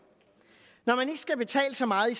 når man skal betale så meget i